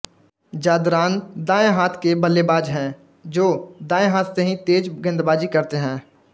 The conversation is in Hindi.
ज़ादरान दाएं हाथ के बल्लेबाज हैं जो दाएं हाथ से ही तेज गेंदबाजी करते हैं